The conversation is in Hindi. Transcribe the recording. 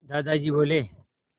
दादाजी बोले